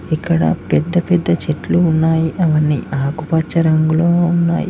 ఇక్కడ పెద్ద పెద్ద చెట్లు ఉన్నాయి అవన్నీ ఆకుపచ్చ రంగులో ఉన్నాయ్.